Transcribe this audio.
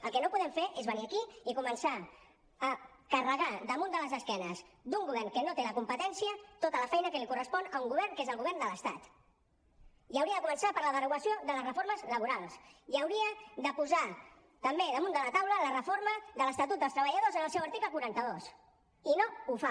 el que no podem fer és venir aquí i començar a carregar damunt de les esquenes d’un govern que no té la competència tota la feina que li correspon a un govern que és el govern de l’estat i hauria de començar per la derogació de les reformes laborals i hauria de posar també damunt de la taula la reforma de l’estatut dels treballadors en el seu article quaranta dos i no ho fa